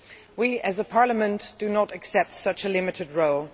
We as a Parliament do not accept such a limited role.